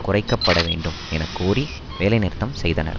குறைக்க பட வேண்டும் என கோரி வேலைநிறுத்தம் செய்தனர்